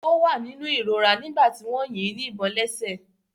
Ó wà ní inú ìrora nígbà tí wọ́n yín ní ìbọn lẹ́sẹ̀.